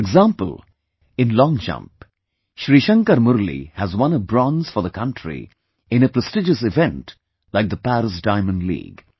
For example, in long jump, Shrishankar Murali has won a bronze for the country in a prestigious event like the Paris Diamond League